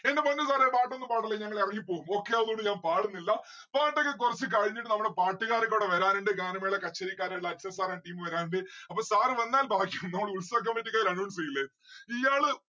എന്റെ പൊന്നു sir ഏ പാട്ടൊന്നും പാടല്ലേ ഞങ്ങൾ എറങ്ങി പോകും okay അതോണ്ട് ഞാൻ പാടുന്നില്ല. പാട്ടൊക്കെ കൊറച്ച് കഴിഞ്ഞിട്ട് നമ്മളെ പാട്ടുകാര് കൂടെ വരാനുണ്ട് ഗാനമേള കച്ചേരിക്കാരെല്ലാം അക്ഷയ് sir and team വരാനുണ്ട്. അപ്പൊ sir വന്നാൽ ഭാഗ്യം നമ്മൾ ഉത്സവ committee ക്കാർ announce എയില്ലേ ഇയ്യാള്